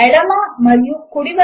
ఈ ప్రాజెక్ట్ కు సహకారము అందిస్తున్నది